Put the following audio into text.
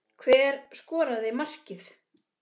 Hver skoraði markið?